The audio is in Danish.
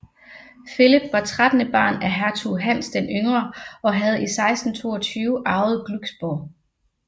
Philip var trettende barn af hertug Hans den Yngre og havde i 1622 arvet Glücksborg